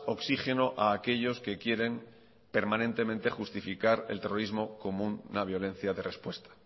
oxígeno a aquellos que quieren permanentemente justificar el terrorismo común a la violencia de respuesta